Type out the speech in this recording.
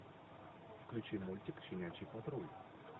включи мультик щенячий патруль